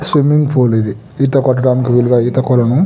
Swimming pool ఇది. ఈత కొట్టడానికి వీలుగా ఈత కొలను --